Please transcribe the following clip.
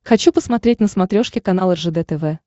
хочу посмотреть на смотрешке канал ржд тв